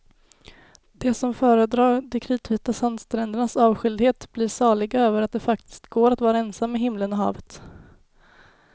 De som föredrar de kritvita sandsträndernas avskildhet blir saliga över att det faktiskt går att vara ensam med himlen och havet.